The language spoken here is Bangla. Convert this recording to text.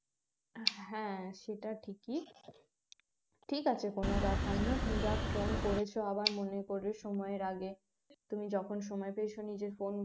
হ্যাঁ সেটা ঠিকই ঠিক আছে কোন ব্যাপার না তুমি যাক phone করেছ আবার মনে করে সময়ের আগে তুমি যখন সময় পেয়েছ নিজের phone